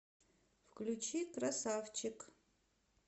включи красавчик